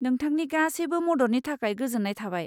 नोंथांनि गासैबो मददनि थाखाय गोजोन्नाय थाबाय।